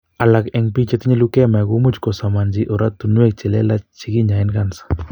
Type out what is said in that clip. Alak en biik chetinye leukemia komuch kosomanchi oratunwek che lelach che kinyoen kansa